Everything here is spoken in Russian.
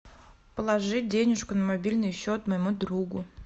положить денежку на мобильный счет моему другу